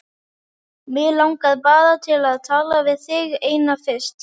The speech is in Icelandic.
Mig langar bara til að tala við þig eina fyrst.